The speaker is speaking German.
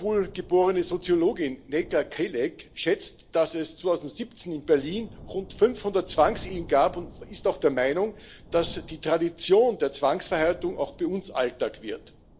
Die in Istanbul geborene Soziologin Necla Kelek schätzt, dass es 2017 in Berlin rund 500 Zwangsehen gab, und ist auch der Meinung, dass die Tradition der Zwangsverheiratung auch bei uns Alltag wird.